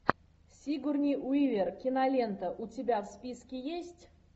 сигурни уивер кинолента у тебя в списке есть